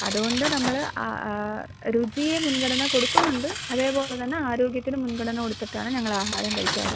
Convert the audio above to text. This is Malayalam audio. അതുകൊണ്ട് നമ്മൾ അ ഏഹ് രുചിയിൽ മുൻഗണന കൊടുക്കുന്നുണ്ട്. അതേപോലെ തന്നെ ആരോഗ്യത്തിനും മുൻഗണന കൊടുത്തിട്ടാണ് ഞങ്ങൾ ആഹാരം കഴിക്കാറ്.